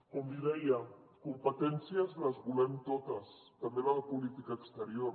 com li deia competències les volem totes també la de política exterior